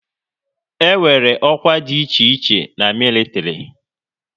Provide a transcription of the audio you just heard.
E nwere ọkwá dị iche iche na militiri